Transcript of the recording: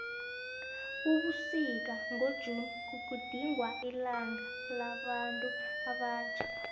ebusika ngo june kugidingwa ilanga labantu abatjha